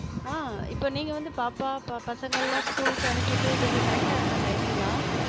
அஹ் இப்ப நீங்க வந்து பாப்பா, பாப்~ பசங்கலா school க்கு அனுப்பிட்டு இதுக்கு correct ஆ இருக்கா? timing லாம்.